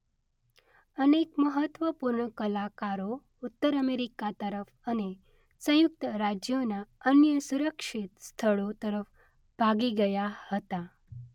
અનેક મહત્વપૂર્ણ કલાકારો ઉત્તર અમેરિકા તરફ અને સંયુક્ત રાજ્યોના અન્ય સુરક્ષિત સ્થળો તરફ ભાગી ગયા હતા.